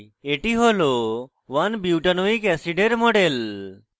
এটি হল 1butanoic acid 1বিউটানোয়িক অ্যাসিড এর model